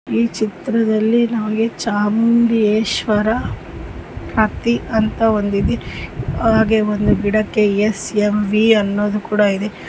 ಈ ಚಿತ್ರದಲ್ಲಿ ನಮ್ಮಗೆ ಚಾಮುಂಡೇಶ್ವರ ಹತ್ತಿ ಅಂತ ಒಂದು ಇದೆ ಹಾಗೆ ಒಂದು ಗಿಡಕ್ಕೆ ಎಸ್_ಎಂ_ವಿ ಅನ್ನೋದು ಕೂಡ ಇದೆ.